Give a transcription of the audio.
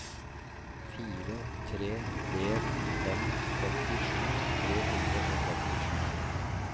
fire tre en fem femtisju tre hundre og femtisju